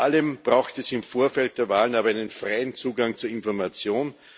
Vor allem braucht es im Vorfeld der Wahlen aber einen freien Zugang zu Informationen.